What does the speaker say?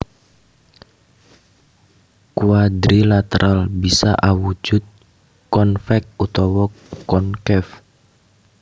Quadrilateral bisa awujud convex utawa concave